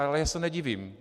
Ale já se nedivím.